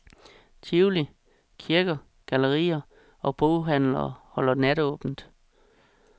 Tivoli, kirker, gallerier og boghandlere holder natåbent.